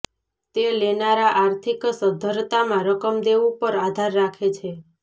તે લેનારા આર્થિક સદ્ધરતામાં રકમ દેવું પર આધાર રાખે છે